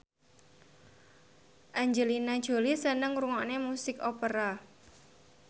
Angelina Jolie seneng ngrungokne musik opera